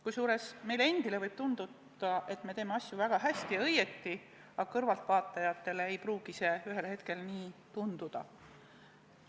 Kusjuures meile endile võib tunduda, et me teeme asju väga hästi ja õigesti, aga kõrvaltvaatajatele ei pruugi see ühel hetkel nii tunduda.